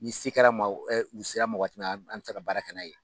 Ni sera kɛra u sera ma waati min na an bɛ se ka baara kɛ n'a ye